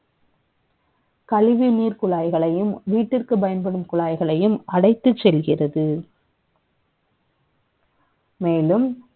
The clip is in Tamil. கழிவு நீர் குழாய்களையும் வீட்டிற்கு பயன்படும் குழாய்களையும் அடித்துச் செல்கிறது மேலும்